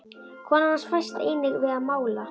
Kona hans fæst einnig við að mála.